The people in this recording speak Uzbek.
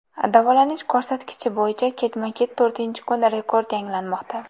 Davolanish ko‘rsatkichi bo‘yicha ketma-ket to‘rtinchi kun rekord yangilanmoqda.